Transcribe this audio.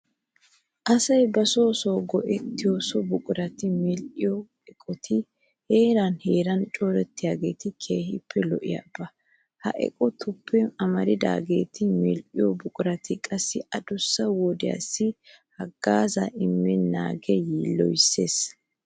Asay ba son son go"ettiyo so buqurata medhdhiya eqotati heeran heeran corattiyogee keehippe lo"oba. Ha eqotatuppe amaridaageeti medhdhiyo buqurati qassi adussa wodiyassi haggaazaa immennaagee yiilloyees.